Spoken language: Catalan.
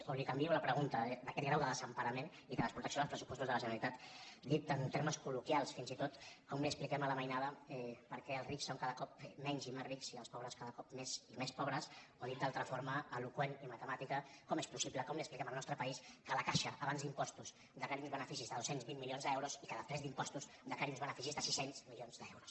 o li canvio la pregunta d’aquest grau de desemparament i de desprotecció dels pressupostos de la generalitat dit en termes col·loquials fins i tot com li expliquem a la mainada per què els rics són cada cop menys i més rics i els pobres cada cop més i més pobres o dit d’altra forma eloqüentment i matemàticament com és possible com li expliquem al nostre país que la caixa abans d’impostos declari uns beneficis de dos cents i vint milions d’euros i que després d’impostos declari uns beneficis de sis cents milions d’euros